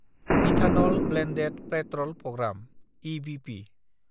ethanol blended petrol programme (EBP)